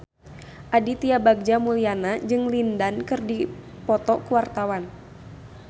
Aditya Bagja Mulyana jeung Lin Dan keur dipoto ku wartawan